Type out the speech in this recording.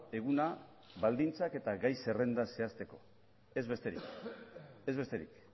eguna baldintzak eta gai zerrenda zehazteko ez besterik